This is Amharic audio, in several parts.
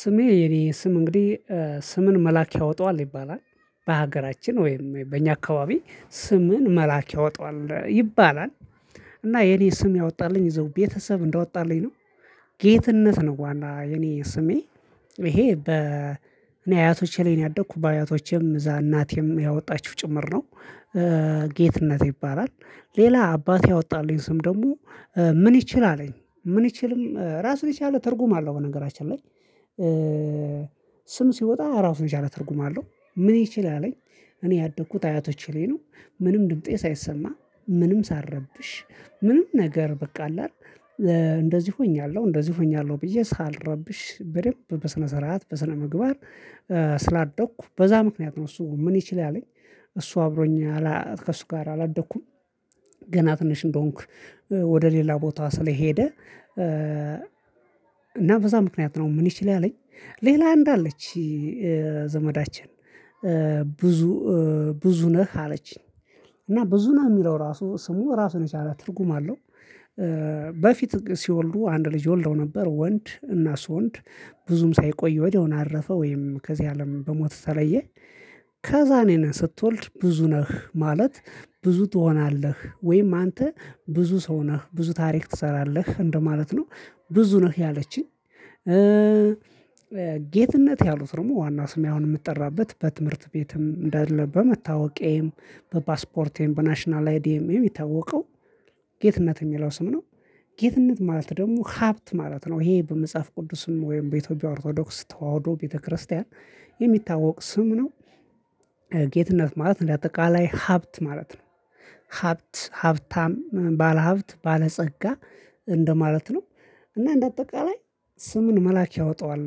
ስሜ የኔ ስም እንግዲህ ስምን መልአክ ያወጣዋል ይባላል በሀገራችን ወይም በእኛ አካባቢ ስምን መልአክ ያወጣዋል ይባላል። እና የኔ ስም ያወጣልኝ እዚያው ቤተሰብ እንዳወጣልኝ ነው። ጌትነት ነው በኋላ የኔ ስሜ ይሄ በ እኔ አያቶቼ ላይ ነው ያደኩት በአያቶቼም እዛ እናቴም ያወጣችው ጭምር ነው። ጌትነት ይባላል ሌላ አባቴ ያወጣልኝ ስም ደግሞ ምን ይችል አለኝ ምን ይችልም ራስን ይችላል ትርጉም አለው በነገራችን ላይ። ስም ሲወጣ ራሱን የቻለ ትርጉም አለው። ምን ይችል አለኝ። እኔ ያደኩት አያቶቼ ላይ ነው። ምንም ድምጤ ሳይሰማ ምንም ሳረብሽ ምንም ነገር በቃ አለ አይደል። እንደዚህ ሆኛለሁ እንደዚህ ሆኛለሁ ብዬ ሳልረብሽ በደንብ በስነ ስርዓት በስነ ምግባር ስላደኩ በዛ ምክንያት ነው። እሱ ምን ይችል አለኝ እሱ አብሮኝ ከእሱ ጋር አላደኩም። ገና ትንሽ እንደሆንኩ ወደ ሌላ ቦታ ስለሄደ። እና በዛ ምክንያት ነው ምን ይችላል አለኝ። ሌላ አንድ አለች ዘመዳችን ብዙ ብዙ ነህ አለችኝ እና ብዙ ነህ የሚለው ራሱ ስሙ ራሱን የቻለ ትርጉም አለው። በፊት ሲወልዱ አንድ ልጅ ወልደው ነበር ወንድ እና እሱ ወንድ ብዙም ሳይቆይ ወዲያውኑ አረፈ ወይም ከዚህ አለም በሞት ተለየ። ከዛ እኔ ነህ ስትወልድ ብዙ ነህ ማለት ብዙ ትሆናለህ ወይም አንተ ብዙ ሰው ነህ ብዙ ታሪክ ትሰራለህ እንደማለት ነው። ብዙ ነህ ያለችኝ። ጌትነት ያሉት ደግሞ ዋና ስሜ አሁን የምጠራበት በትምህርት ቤትም እንደለ በመታወቄም በፓስፖርቴም በናሽናል አይዲኤም የሚታወቀው ጌትነት የሚለው ስም ነው። ጌትነት ማለት ደግሞ ሀብት ማለት ነው ይሄ በመጽሐፍ ቅዱስም ወይም በኢትዮጵያ ኦርቶዶክስ ተዋህዶ ቤተክርስቲያን የሚታወቅ ስም ነው። ጌትነት ማለት ለአጠቃላይ ሀብት ማለት ነው። ሀብት ሀብታም ባለሀብት ባለጸጋ እንደማለት ነው። እና እንደ አጠቃላይ ስምን መልአክ ያወጣዋል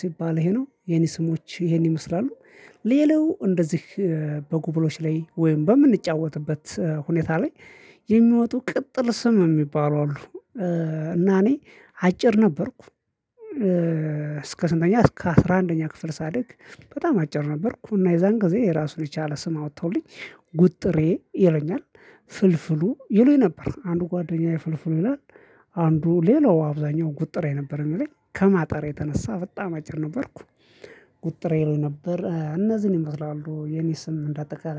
ሲባል ይሄ ነው የኔ ስሞች ይሄን ይመስላሉ። ሌላው እንደዚህ በጉብሎች ላይ ወይም በምንጫወትበት ሁኔታ ላይ የሚወጡ ቅጥል ስም የሚባሉ አሉ። እና እኔ አጭር ነበርኩ። እስከ ስንተኛ እስከ አስራ አንደኛ ክፍል ሳድግ በጣም አጭር ነበርኩ እና የዛን ጊዜ የራሱን የቻለ ስም አወጣሁልኝ። ጉጥሬ ይሉኛል ፍልፍሉ ይሉኝ ነበር አንዱ ጓደኛዬ ፍልፍሉ ይላል አንዱ ሌላው አብዛኛው ጉጥሬ የነበረኝ የሚለኝ ከማጣሪያ የተነሳ በጣም አጭር ነበርኩ። ጉጥሬ ይሉኝ ነበር እነዚህን ይመስላሉ የኔ ስም እንደ አጠቃላይ